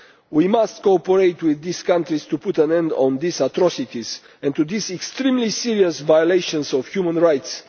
We must cooperate with these countries to put an end to these atrocities and to this extremely serious violation of human rights.